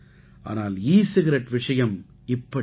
ஆனால் e cigarette விஷயம் இப்படியல்ல